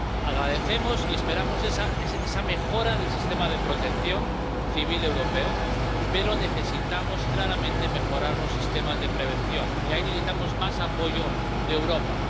Agradecemos y esperamos esa mejora del sistema de protección civil europeo, pero necesitamos claramente mejorar los sistemas de prevención y ahí necesitamos más apoyo de Europa.